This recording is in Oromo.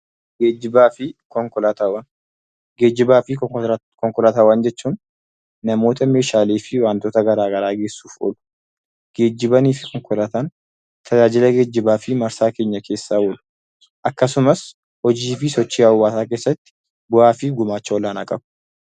Geejjiba fi konkolaataawwan jechuun namoota, meeshaalee fi wantoota garagaraa geessuuf oolu. Geejjiba fi konkolaataawwan tajaajila geejjibaa fi marsaa keenyaa keessa oolu. Akkasumas hojii fi sochii hawaasaa keessatti gumaacha olaanaa qabu.